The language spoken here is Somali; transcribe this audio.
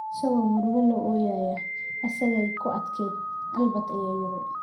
isagoo murugo la ooyaya, isagay ku adkayd," Albert ayaa yidhi."